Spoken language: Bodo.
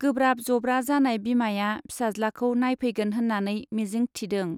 गोब्राब जब्रा जानाय बिमाया फिसाज्लाखौ नायफैगोन होन्नानै मिजिंक थिदों।